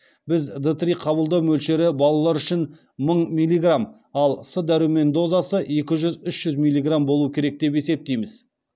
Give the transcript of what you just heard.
біз д три қабылдау мөлшері балалар үшін мың миллиграмм ал с дәрумен дозасы екі жүз үш жүз миллиграмм болу керек деп есептейміз